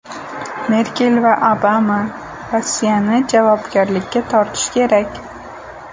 Merkel va Obama: Rossiyani javobgarlikka tortish kerak.